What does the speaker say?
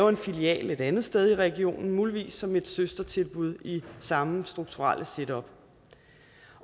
en filial et andet sted i regionen muligvis som et søstertilbud i samme strukturelle setup